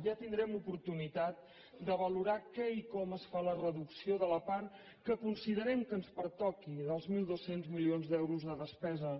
ja tindrem oportunitat de valorar què i com es fa la reducció de la part que considerem que ens pertoqui dels mil dos cents milions d’euros de despesa